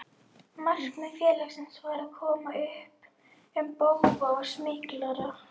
Markmið félagsins var að koma upp um bófa og smyglara.